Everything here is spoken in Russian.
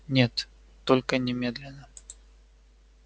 нет только не немедленно